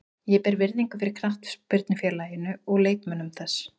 Ég ber virðingu fyrir knattspyrnufélaginu og leikmönnum þess.